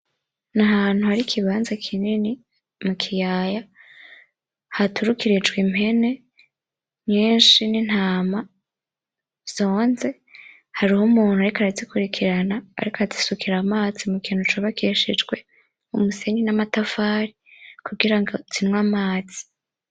Nahantu hari ikibanza kinini mukiyaya haturikijwe impene nyinshi n'intama zonze, hariho umuntu ariko arazikurikirana azisukira amazi mukintu cubakishijwe umusenyi n'amatafari kugirango zinywe amazi